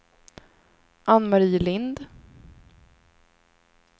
Anne-Marie Lind